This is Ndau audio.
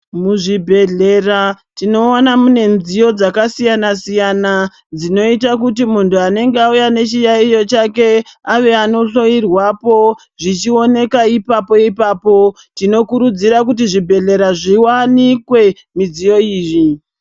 Muzvibhehlera tinoona mune mudziyo dzakasiyana siyana dzinoita kuti muntu anenge auye nechiyaiyo chake ave anohloyirwapo zvichioneka ipapo-ipapo. Tinokurudzira kuti zvibhedhlera zviwanikwe midziyo iyi.